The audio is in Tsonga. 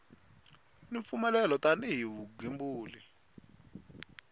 ni mpfumelelo tani hi vugembuli